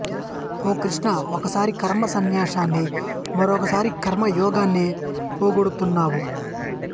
ఓ కృష్ణా ఒకసారి కర్మ సన్యాసాన్ని మరొకసారి కర్మ యోగాన్ని పొగుడుతున్నావు